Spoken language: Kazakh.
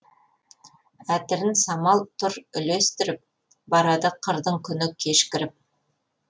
әтірін самал тұр үлестіріп барады қырдың күні кешкіріп